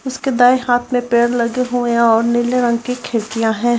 उसके दाएं हांथ में पेड़ लगे हुएं और नीले रंग की खिड़कियाँ हैं।